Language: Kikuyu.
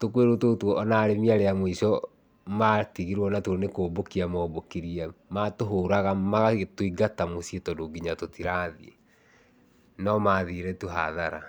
tũkũĩrũ tũtũ ona arĩmi arĩa a mũico matigirwo natuo nĩkũmbũkia maũmbũkirie. Matũhũraga magagĩtũingata mũciĩ tondũ kinya tũtirathiĩ, no mathire tu hathara.